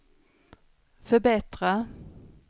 förbättra